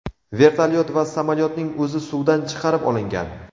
Vertolyot va samolyotning o‘zi suvdan chiqarib olingan.